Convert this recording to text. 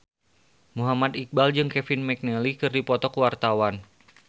Muhammad Iqbal jeung Kevin McNally keur dipoto ku wartawan